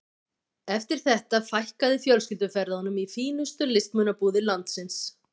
Eftir þetta fækkaði fjölskylduferðunum í fínustu listmunabúðir landsins.